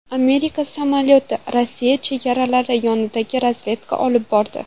Amerika samolyoti Rossiya chegaralari yaqinida razvedka olib bordi.